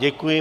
Děkuji.